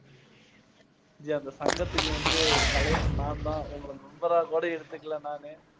G, அந்த சங்கத்துக்கு வந்து தலைவன் நான் தான். உங்களை member ரா கூட இழுத்துக்கல நானு.